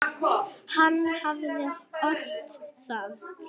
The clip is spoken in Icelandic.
Hann hafði ort það.